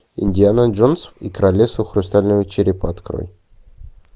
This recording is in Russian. индиана джонс и королевство хрустального черепа открой